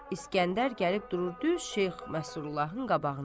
İskəndər gəlib durur düz Şeyx Məsurullahın qabağında.